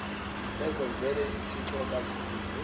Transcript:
bezenzela izithixo bazikhonze